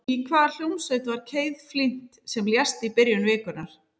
Í hvaða hljómsveit var Keith Flint sem lést í byrjun vikunnar?